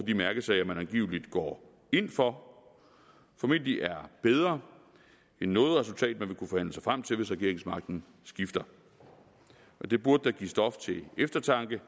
de mærkesager man angiveligt går ind for formentlig er bedre end noget resultat man vil kunne forhandle sig frem til hvis regeringsmagten skifter det burde da give stof til eftertanke